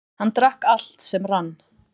Hann drakk allt sem rann.